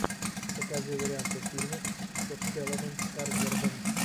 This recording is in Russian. покажи варианты фильмов со стелланом скарсгардом